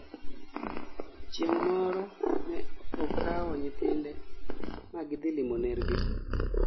Chieng' moro ne okao nyithinde ma gidhilimo ner gi